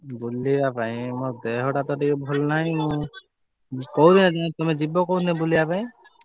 ବୁଲିବା ପାଇଁ ମୋ ଦେହଟା ତ ଟିକେ ଭଲ ନାହି ମୁଁ କୋଉ ଦିନ ତମେ କୋଉ ଦିନ ଯିବ ବୁଲିବା ପାଇଁ।